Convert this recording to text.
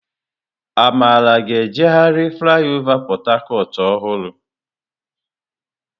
Amara ga-eje gharị flaịọvá Port Harcourt ọhụrụ.